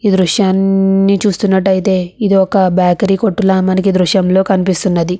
దృశ్యాన్ని చూస్తున్నట్టయితే ఇది ఒక బేకరీ కొట్టు లా మనకి దృశ్యంలో కనిపిస్తున్నది.